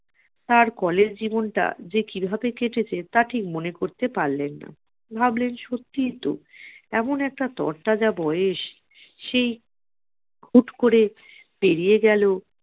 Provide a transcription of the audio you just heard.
আর college জীবনটা যে কিভাবে কেটেছে তা ঠিক মনে করতে পারলেন না ভাবলেন সত্যিই তো এমন একটা তরতাজা বয়স সেই হুট করে পেরিয়ে গেল